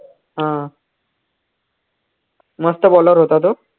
हा मस्त bowler होता तो